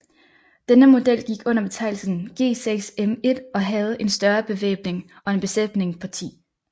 Denne model gik under betegnelsen G6M1 og havde en større bevæbning og en besætning på 10